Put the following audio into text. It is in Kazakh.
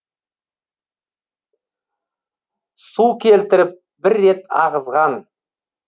су келтіріп бір рет ағызған